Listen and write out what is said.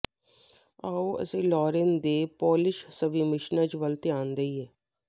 ਆਓ ਅਸੀਂ ਲੋਰਿਨ ਦੇ ਪੋਲਿਸ਼ ਸਵੀਮਿਸ਼ਨਜ਼ ਵੱਲ ਧਿਆਨ ਦੇਈਏ